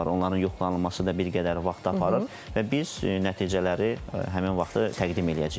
Onların yoxlanılması da bir qədər vaxt aparır və biz nəticələri həmin vaxtı təqdim eləyəcəyik.